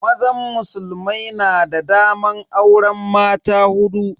Mazan musulmai na da daman auren mata hudu.